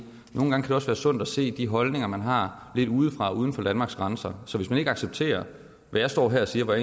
nogle gange kan det også være sundt at se de holdninger man har lidt udefra uden for danmarks grænser så hvis man ikke accepterer hvad jeg står her og siger og